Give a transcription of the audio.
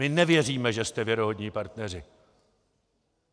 My nevěříme, že jste věrohodní partneři!